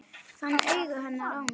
Fann augu hennar á mér.